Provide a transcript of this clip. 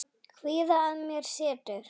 Kvíða að mér setur.